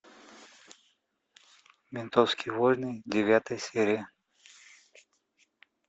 ментовские войны девятая серия